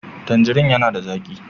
Tandirin yana da zaƙi